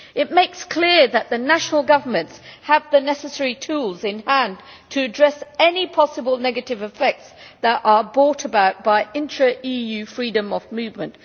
It makes clear that the national governments have the necessary tools in hand to address any possible negative effects that are brought about by intra EU freedom of movement.